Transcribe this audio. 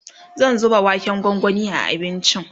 zan zuba waken gwangwani a abincin